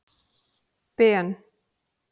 Ben